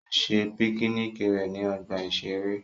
Ó ṣe píkíníkì rẹ̀ ní ọgbà-ìṣeré